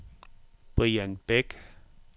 Brian Beck